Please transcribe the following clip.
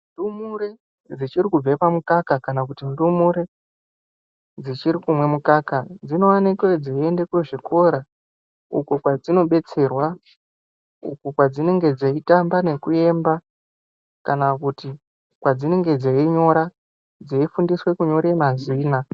Ndumure dzichiri kubve oamukaka kana kuti ndumure dzichiri kumweni mukaka dzinowanike dzeienda kuzvikora uko kwadzinobetserwa, uko kwadzinenge dzeitamba nekuemba kana kuti kwadzinenge dzeinyora dzeifundiswe kunyora mazina.